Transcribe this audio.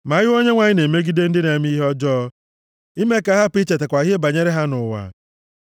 ma ihu Onyenwe anyị na-emegide ndị na-eme ihe ọjọọ, ime ka a hapụ ichetakwa ihe banyere ha nʼụwa.